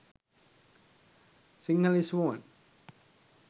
sinhalese women